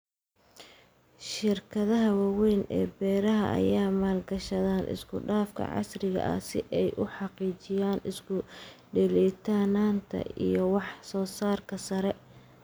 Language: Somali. Shirkadaha waaweyn ee beeraha ayaa maalgashada isku-dhafka casriga ah si ay u xaqiijiyaan isku dheelitirnaanta iyo wax-soo-saarka sare.